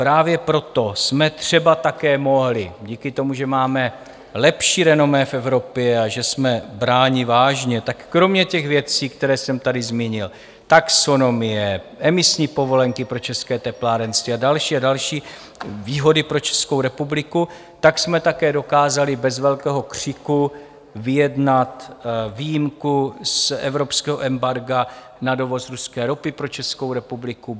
Právě proto jsme třeba také mohli, díky tomu, že máme lepší renomé v Evropě a že jsme bráni vážně, tak kromě těch věcí, které jsem tady zmínil - taxonomie, emisní povolenky pro české teplárenství a další a další výhody pro Českou republiku - tak jsme také dokázali bez velkého křiku vyjednat výjimku z evropského embarga na dovoz ruské ropy pro Českou republiku.